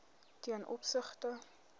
ten opsigte